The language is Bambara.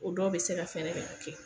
O dɔw bɛ se ka fɛnɛ kɛ